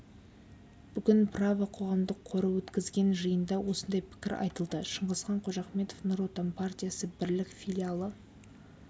бүгін право қоғамдық қоры өткізген жиында осындай пікір айтылды шыңғысхан қожахметов нұр отан партиясы бірлік филиалы